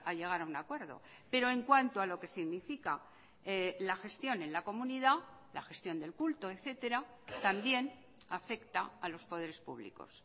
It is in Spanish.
llegar a un acuerdo pero en cuanto a lo que significa la gestión en la comunidad la gestión del culto etcétera también afecta a los poderes públicos